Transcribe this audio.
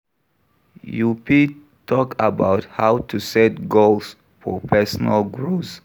You fit talk about how to set goals for personal growth.